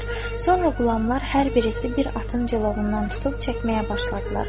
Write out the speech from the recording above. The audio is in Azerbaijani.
Sonra qulamlar hər birisi bir atın cilovundan tutub çəkməyə başladılar.